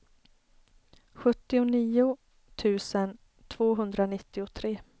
sjuttionio tusen tvåhundranittiotre